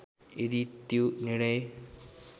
यदि त्यो निर्णय